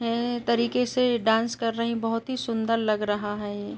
एं तरीके से डांस कर रही बहुत ही सुंदर लग रहा है।